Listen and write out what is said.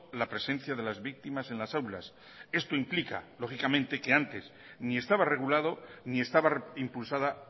la presencia de las víctimas en las aulas esto implica lógicamente que antes ni estaba regulado ni estaba impulsada